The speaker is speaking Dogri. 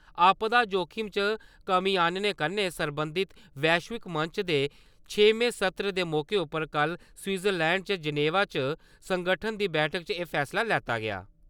आपदा जोखिम च कमीं आनने कन्नै सरबंधत वैश्विक मंच दे छेमें सत्र दे मौके उप्पर कल स्विट्जरलैंड च जनेवा च संगठन दी बैठक च एह् फैसला लैता गेआ।